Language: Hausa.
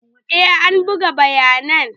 Eh an buga bayanan.